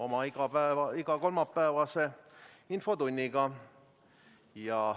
Alustame oma igakolmapäevast infotundi.